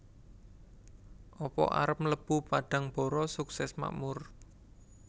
Apa arep mlebu Padangbara Sukses Makmur?